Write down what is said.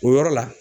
O yɔrɔ la